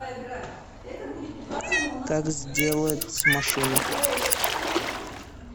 как сделать машину